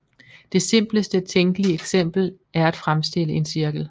Det simpleste tænkelige eksempel er at fremstille en cirkel